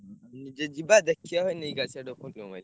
ଉଁ ନିଜେ ଯିବା ଦେଖିଆ ଭାଇ ନେଇକି ଆସିଆ ଭାଇ।